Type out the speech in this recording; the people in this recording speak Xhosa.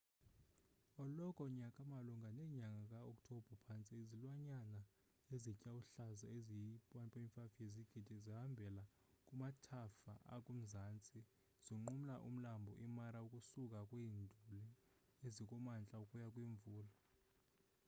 eloko nyaka malunga nenyaga ka oktobha phantse izilwanyanana ezitya uhlaza ezi yi 1.5 yezigidi zihambela kumathafa akumazantsi zinqumla umlambo i mara ukusuka kwiinduli ezikumantla ukuya kwimvula